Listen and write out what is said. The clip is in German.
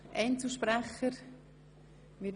Wünschen Einzelsprecher das Wort?